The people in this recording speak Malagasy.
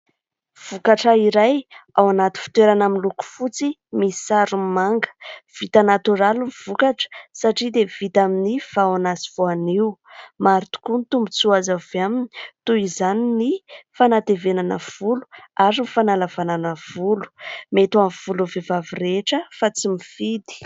Vokatra iray ao anaty fitoerana miloko fotsy misy sarony manga, vita natoraly ny vokatra satria dia vita amin'ny vahona sy voanio. Maro tokoa ny tombontsoa azo avy aminy : toy izany ny fanatevenana volo ary ny fanalavanana volo, mety amin'ny volon'ny vehivavy rehetra fa tsy mifidy.